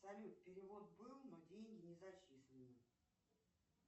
салют перевод был но деньги не зачислены